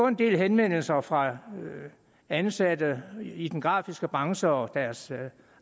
en del henvendelser fra ansatte i den grafiske branche og deres